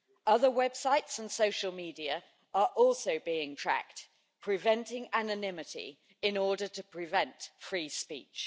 Other websites and social media are also being tracked, preventing anonymity in order to prevent free speech.